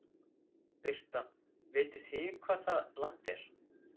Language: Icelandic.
Birta: Vitið þið hvar það land er?